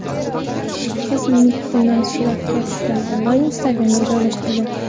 Qiz Mittini suratga tushirdi va Instagram’da joylashtirdi.